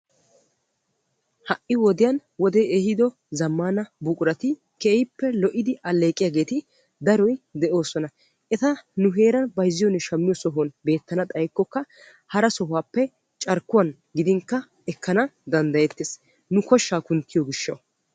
Ha'i wodiyan wode ehiido zammaana buqurati keehippe lo'idi alleeqiyaageti daroyi deoosona. Eta nu heeran nu heeran bayizziyoone shammiyoo sohuwan beettana xayikkokka hara sohuwaappe carkkuwan gidinkka ekkana danddayeettes nu koshshaa kunttiyoo gishshawu.